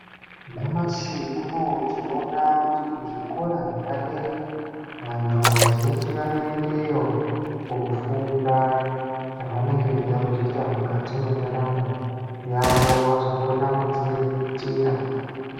Nyamashi unowu tinoona kuti kuzvikora zvepadera, vantu vazhinji vanoendeyo koofunda ,zvavanenge veida kuzoita mukati mwendaramo yavo kuti vazokona kudziriritira.